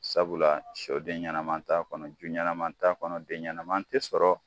Sabula shɔ den ɲɛnaman t'a kɔnɔ ju ɲɛnaman t'a kɔnɔ den ɲɛnaman tɛ sɔrɔ.